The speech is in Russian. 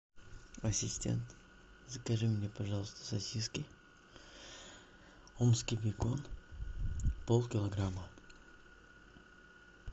ассистент закажи мне пожалуйста сосиски омский бекон полкилограмма